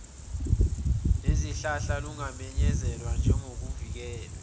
lezihlahla lungamenyezelwa njengoluvikelwe